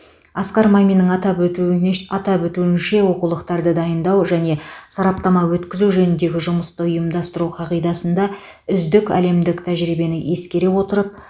асқар маминнің атап өтуінеш атап өтуінше оқулықтарды дайындау және сараптама өткізу жөніндегі жұмысты ұйымдастыру қағидасында үздік әлемдік тәжірибені ескере отырып